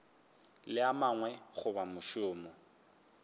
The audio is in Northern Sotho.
le a mangwe goba mošomo